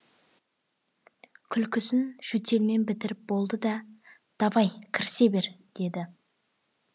күлкісін жөтелмен бітіріп болды да давай кірісе бер деді